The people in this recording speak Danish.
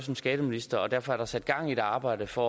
som skatteminister og derfor er der sat gang i et arbejde for